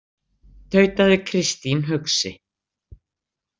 , tautaði Kristín hugsi.